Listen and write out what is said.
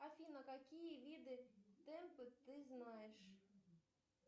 афина какие виды темпа ты знаешь